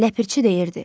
Ləpirçi deyirdi: